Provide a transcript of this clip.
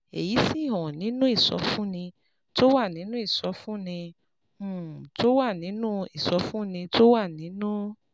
èyí sì hàn nínú ìsọfúnni tó wà nínú ìsọfúnni um tó wà nínú ìsọfúnni tó wà nínú